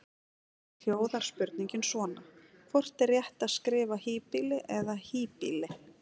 Í heild hljóðar spurningin svona: Hvort er rétt að skrifa híbýli eða hýbýli?